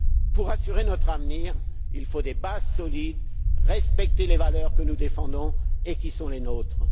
Pour assurer notre avenir, il faut des bases solides, il faut respecter les valeurs que nous défendons et qui sont les nôtres.